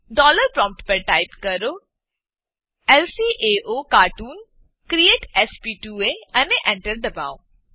dollar prompt પર type કરો લ્કાઓકાર્ટૂન ક્રિએટ sp2એ અને Enter દબાવો